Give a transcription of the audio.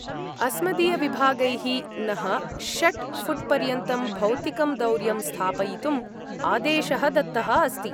अस्मदीयविभागैः नः षट् फुट्पर्यन्तं भौतिकं दौर्यं स्थापयितुम् आदेशः दत्तः अस्ति।